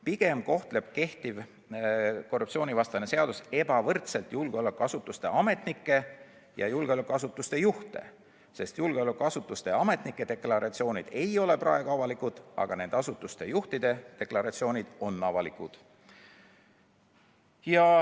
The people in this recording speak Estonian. Pigem kohtleb kehtiv korruptsioonivastane seadus ebavõrdselt julgeolekuasutuste juhte ja julgeolekuasutuste muid ametnikke, sest julgeolekuasutuste ametnike deklaratsioonid ei ole praegu avalikud, aga nende asutuste juhtide deklaratsioonid on avalikud.